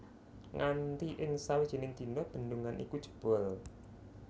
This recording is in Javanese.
Nganti ing sawijining dina bendungan iku jebol